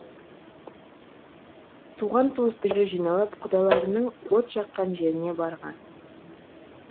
туған туыстары жиналып құдаларының от жаққан жеріне барған